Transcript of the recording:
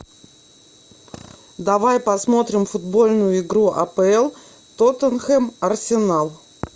давай посмотрим футбольную игру апл тоттенхэм арсенал